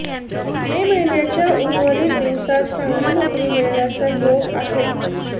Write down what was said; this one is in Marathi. मे महिन्याच्या उर्वरित दिवसांत चांगली नोकरी मिळण्याचा योग आहे